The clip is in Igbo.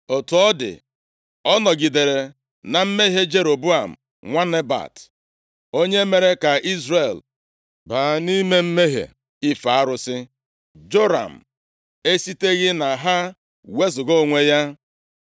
Otu ọ dị, ọ nọgidere na mmehie Jeroboam nwa Nebat, onye mere ka Izrel baa nʼime mmehie ife arụsị. Joram esiteghị na ha wezuga onwe ya.